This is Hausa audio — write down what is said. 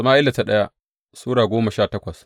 daya Sama’ila Sura goma sha takwas